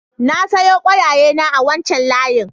Na sayo ƙwaiƙwayena a wancan layin.